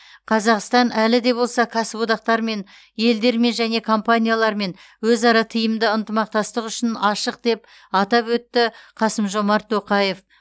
қазақстан әлі де болса кәсіподақтармен елдермен және компаниялармен өзара тиімді ынтымақтастық үшін ашық деп атап өтті қасым жомарт тоқаев